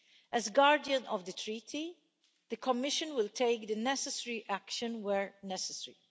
As Guardian of the Treaty, the Commission will take the necessary action where necessary.